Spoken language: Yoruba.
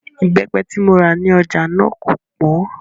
Ìbẹ́pẹ tí mo rà ní ọjà náà kò pọ́n